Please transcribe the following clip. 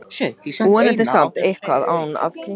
Vonandi samt eitthvað ann að en kirkju.